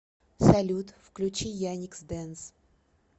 салют включи яникс дэнс